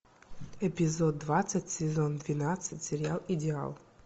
эпизод двадцать сезон двенадцать сериал идеал